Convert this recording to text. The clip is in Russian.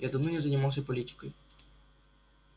я давно не занимался политикой